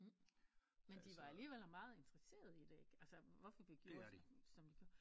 Men de var alligevel meget interesseret i det ikke altså vi gjorde som vi gjorde